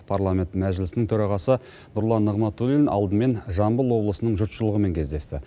парламент мәжілісінің төрағасы нұрлан нығматулин алдымен жамбыл облысының жұртшылығымен кездесті